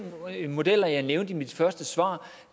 modeller jeg nævnte i mit første svar